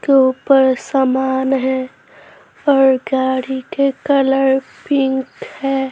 के ऊपर सामान है और गाड़ी के कलर पिंक है।